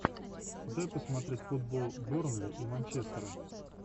дай посмотреть футбол бернли и манчестера